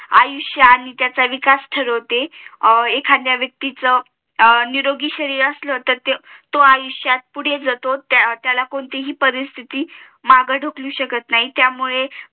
आयुष्य आणि त्याच अविकास ठरवते एखाद्या व्यक्तीच निरोगी शरीर असलं तेर तो आयुष्यात पुढे जातो त्याला कोणतीही परिस्थिती मागे ढकलू शकत नाही त्यामुळे